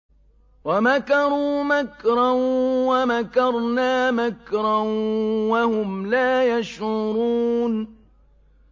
وَمَكَرُوا مَكْرًا وَمَكَرْنَا مَكْرًا وَهُمْ لَا يَشْعُرُونَ